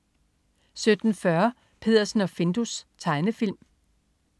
17.40 Peddersen og Findus. Tegnefilm